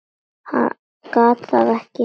Gat það ekki.